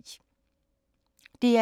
DR2